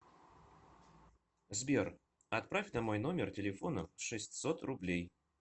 сбер отправь на мой номер телефона шестьсот рублей